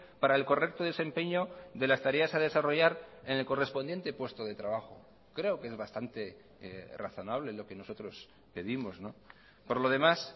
para el correcto desempeño de las tareas a desarrollar en el correspondiente puesto de trabajo creo que es bastante razonable lo que nosotros pedimos por lo demás